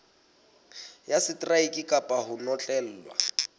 ya seteraeke kapa ho notlellwa